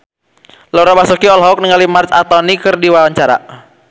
Laura Basuki olohok ningali Marc Anthony keur diwawancara